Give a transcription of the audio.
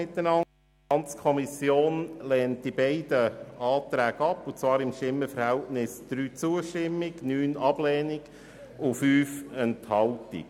Die FiKo hat diese beiden Anträge mit 3 zu 9 Stimmen und 5 Enthaltungen abgelehnt.